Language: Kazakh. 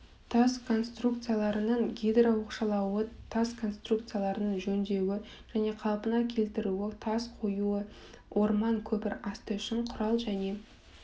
тас конструкцияларының гидрооқшаулауы тас конструкцияларының жөндеуі және қалпына келтірілуі тас қоюы орман көпір асты үшін құрал және